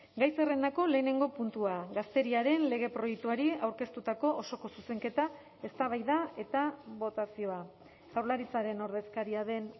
gai zerrendako lehenengo puntua gazteriaren lege proiektuari aurkeztutako osoko zuzenketa eztabaida eta botazioa jaurlaritzaren ordezkaria den